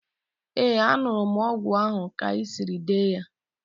Ee, an̄ụrụ m ọgwụ ahụ ka i siri dee ya.